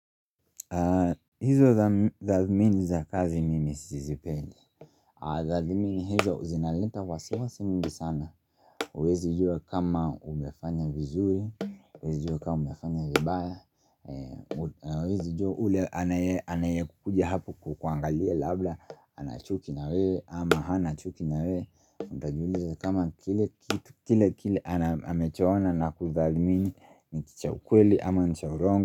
Hizo tathmini za kazi mimi sizipendi Tathmini hizo zinaleta wasiwasi mwingi sana huwezi jua kama umefanya vizuri, huwezi jua kama umefanya vibaya, huwezi jua yule anaye anaye kuja hapo kukuangalia labda anachuki na wewe, ama hana chuki na wewe Utajiuliza kama kile kitu kile kile amechoona na kutathmini ni cha ukweli ama ni cha uongo.